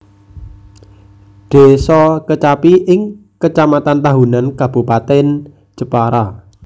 Désa Kecapi ing Kecamatan Tahunan Kabupatèn Jepara